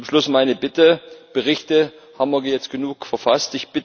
Zum Schluss meine Bitte Berichte haben wir jetzt genug verfasst.